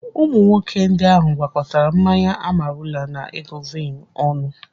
Ụmụ nwoke ndị ahụ gwakọtara mmanya Amarula na Egovin ọnụ.